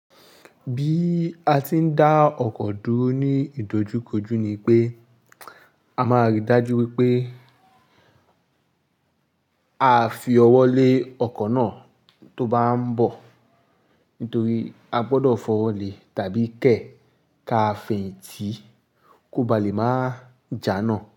Bí a ti ń dá ọkọ̀ dúró ní ìdojúkojú ni pé a máa rí i dájú wípé a fi ọwọ́ lé ọkọ̀ náà tó bá ń bọ̀ nítorí a gbọdọ̀ fọwọ́ lé tàbí kẹ́ ká fẹ̀yìntì kó ba lè máa jà náà.